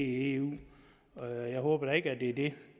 i eu jeg håber da ikke at det er det